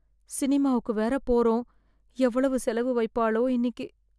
சினிமாவுக்கு வேற போறோம் எவ்வளவு செலவு வைப்பாளோ இன்னிக்கி